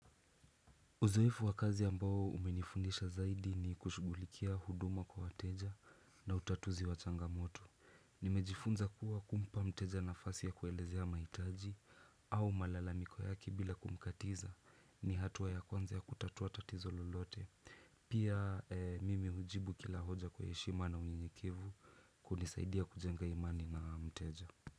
Uzoefu wa kazi ambao umenifundisha zaidi ni kushugulikia huduma kwa wateja na utatuzi wa changamoto. Nimejifunza kuwa kumpa mteja nafasi ya kuelezea mahitaji au malalamiko yake bila kumkatiza ni hatua ya kwanza ya kutatuwa tatizo lolote. Pia mimi hujibu kila hoja kwa heshima na unyenyekevu kunisaidia kujenga imani na mteja.